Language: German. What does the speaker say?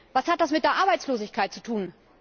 Was hat das mit der Arbeitslosigkeit zu tun?